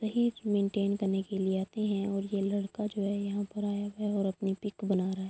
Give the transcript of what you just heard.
میںتین کرنے کے لئے آتے ہے اور یہ لڑکا یہاں پر آیا ہوا ہے اور اپنی پک بنا رہا ہے۔